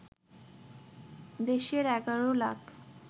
দেশের ১১ লাখ